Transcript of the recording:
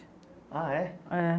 Ah, é? É.